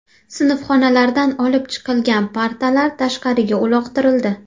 Sinfxonalardan olib chiqilgan partalar tashqariga uloqtirildi .